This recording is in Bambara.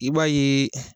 I b'a ye